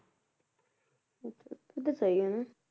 ਫੇਰ ਤਾਂ ਸਹੀ ਆ ਨਾ